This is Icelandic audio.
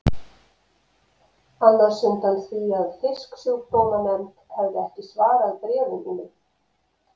annars undan því að Fisksjúkdómanefnd hefði ekki svarað bréfum mínum.